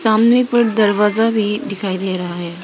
हमने पर दरवाजा भी दिखाई दे रहा है।